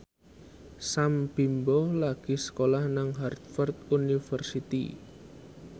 Sam Bimbo lagi sekolah nang Harvard university